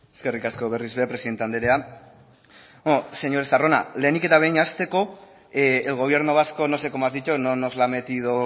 eskerrik asko berriz ere presidente andrea bueno señor estarrona lehenik eta behin hasteko el gobierno vasco no sé cómo has dicho no nos la metido